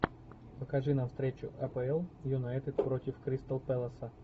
покажи нам встречу апл юнайтед против кристал пэласа